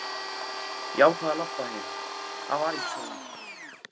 Ég ákvað að labba heim, það var ekki svo langt.